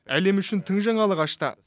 әлем үшін тың жаңалық ашты